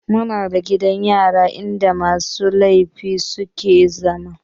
Muna da gidan yari in da musu laifi suke zama